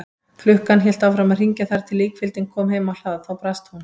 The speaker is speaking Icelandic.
Klukkan hélt áfram að hringja þar til líkfylgdin kom heim á hlað, þá brast hún.